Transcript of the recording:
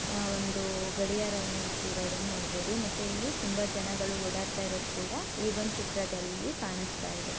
ಆ ಒಂದು ಗಡಿಯಾರವನ್ನ ಇಟ್ಟಿರುವುದನ್ನ ನೋಡಬಹುದು ಮತ್ತೆ ಇಲ್ಲಿ ತುಂಬಾ ಜನಗಳು ಓಡಾಡ್ತಇರುವುದು ಕೂಡ ಈ ಒಂದು ಚಿತ್ರ ದಲ್ಲಿ ಕಾಣಿಸ್ತಾ ಇದೆ.